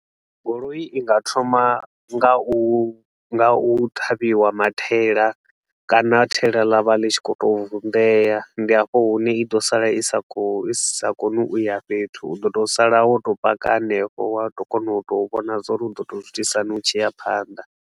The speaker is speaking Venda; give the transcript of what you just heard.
Goloi i nga thoma nga u nga u ṱhavhiwa mathaela kana thaela ḽa vha ḽi tshi khou tou vunḓea. Ndi hafho hune i ḓo sala i sa khou i sa koni u ya fhethu, u ḓo tou sala wo tou paka hanefho, wa ḓo kona u tou vhona zwa uri u ḓo tou zwi itisa hani u tshi ya phanḓa.